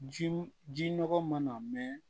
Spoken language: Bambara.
Ji ji nɔgɔ mana mɛn